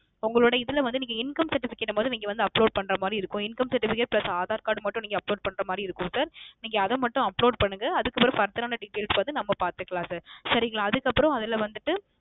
உங்களோட இதில வந்து நீங்க Income Certificate முத நீங்க வந்து Upload பண்ற மாரி இருக்கும் Income Certificate plus Aadhar card மட்டும் Upload பண்ற மாரி இருக்கும் Sir நீங்க அத மட்டும் upload பண்ணுங்க அதுக்குக்பெறவு Details வந்து நம்ம பார்த்துக்கலாம் Sir சரிகளா அதுக்கு அப்புறம் அதில வந்துட்டு